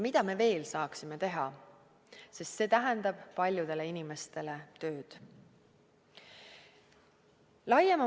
Mida me veel saaksime teha, sest see tähendab paljudele inimestele tööd?